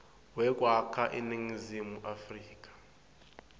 wekwakha iningizimu afrika